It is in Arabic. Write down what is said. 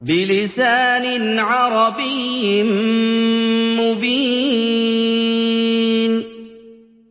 بِلِسَانٍ عَرَبِيٍّ مُّبِينٍ